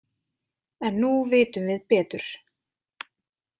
En nú vitum við betur.